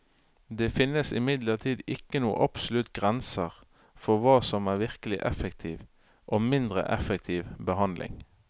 Det finnes imidlertid ikke noen absolutte grenser for hva som er virkelig effektiv og mindre effektiv behandling.